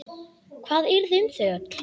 Hvað yrði um þau öll?